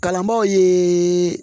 Kalanbaaw ye